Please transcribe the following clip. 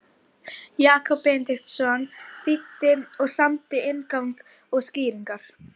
Jakob Benediktsson þýddi og samdi inngang og skýringar.